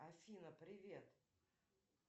афина привет